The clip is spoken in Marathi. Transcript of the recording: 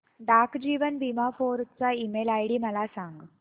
डाक जीवन बीमा फोर्ट चा ईमेल आयडी मला सांग